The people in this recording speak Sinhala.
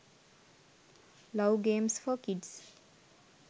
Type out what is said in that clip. love games for kids